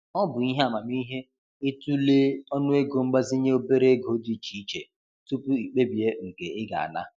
Ọ bụ ihe amamihe i tụlee ọnụego mgbazinye obere ego dị iche iche tupu i kpebie nke ị ga ana.